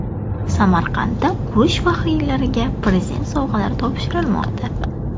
Samarqandda urush faxriylariga Prezident sovg‘alari topshirilmoqda.